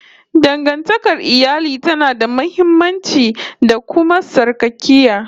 Dangantakar iyali tana da muhimmanci, da kuma sarƙaƙiya